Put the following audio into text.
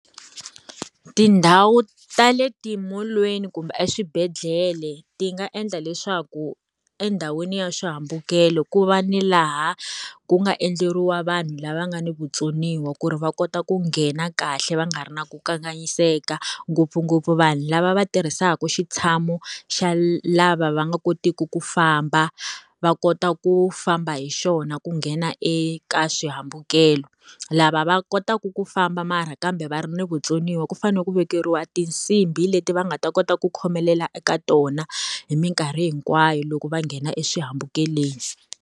Tindhawu ta le timolweni kumbe eswibedhlele ti nga endla leswaku endhawini ya swihambukelo ku va ni laha ku nga endleriwa vanhu lava nga ni vutsoniwa ku ri va kota ku nghena kahle va nga ri na ku kanganyiseka, ngopfungopfu vanhu lava va tirhisaka switshamo xa lava va nga kotiki ku famba, va kota ku famba hi xona ku nghena eka swihambukelo. Lava va va kotaku ku famba mara kambe va ri ni vutsoniwa ku fanele ku vekeriwa tinsimbhi leti va nga ta kota ku khomelela eka tona, hi minkarhi hinkwayo loko va nghena eswihambukelweni.